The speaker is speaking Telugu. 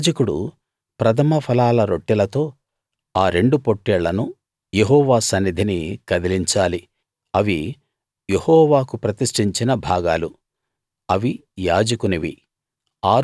యాజకుడు ప్రథమఫలాల రొట్టెలతో ఆ రెండు పొట్టేళ్లను యెహోవా సన్నిధిని కదిలించాలి అవి యెహోవాకు ప్రతిష్ఠించిన భాగాలు అవి యాజకునివి